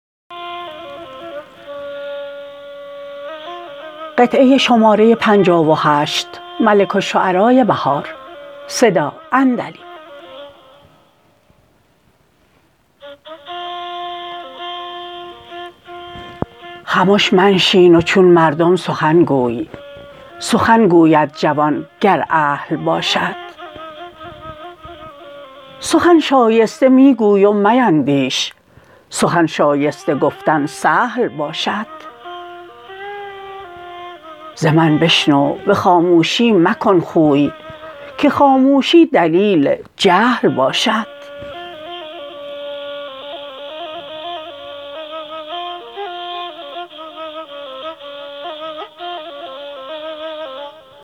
خمش منشین و چون مردم سخنگوی سخن گوید جوان گر اهل باشد سخن شایسته می گوی و میندیش سخن شایسته گفتن سهل باشد ز من بشنو به خاموشی مکن خوی که خاموشی دلیل جهل باشد